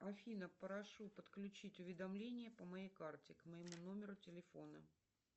афина прошу подключить уведомление по моей карте к моему номеру телефона